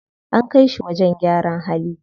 An kai shi wajen gyaran hali.